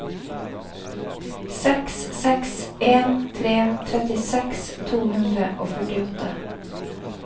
seks seks en tre trettiseks to hundre og førtiåtte